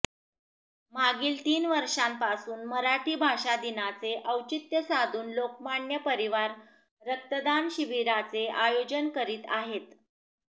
मागील तीन वर्षांपासून मराठी भाषा दिनाचे औचित्य साधून लोकमान्य परिवार रक्तदान शिबिराचे आयोजन करीत आहेत